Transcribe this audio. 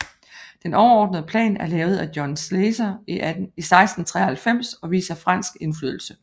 Den overordnerede plan er lavet af John Slezer i 1693 og viser fransk indflydelse